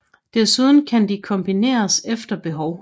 Desuden kan de kombineres efter behov